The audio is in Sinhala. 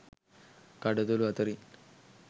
කඩතොලු අතරින්